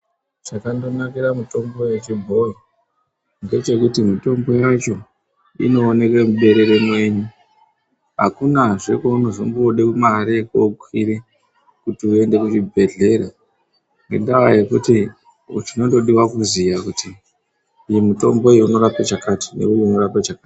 Chakandonakira mitombo yechibhoyi ndechekuti mitombo yacho inooneke muberere mwenyu akunazve kwaunozombode mare yekokwire kuti uende kuchibhedhleya ngendaa yekuti chinondodiwa kuziya kuti uyu mutombo unorape chakati neuyu unorape chakati.